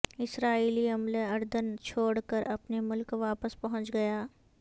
اسرائیلی عملہ اردن چھوڑ کر اپنے ملک واپس پہنچ گیا